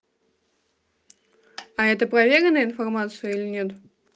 а это проверенная информация или нет